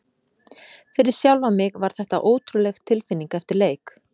Fyrir sjálfan mig var þetta ótrúleg tilfinning eftir leik.